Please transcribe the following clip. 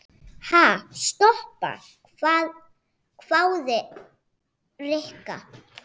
Ha, stoppa? hváði Rikka.